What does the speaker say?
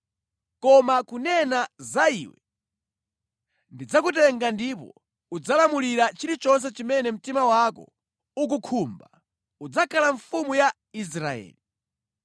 Koma kunena za iwe, ndidzakutenga ndipo udzalamulira chilichonse chimene mtima wako ukukhumba; udzakhala mfumu ya Israeli.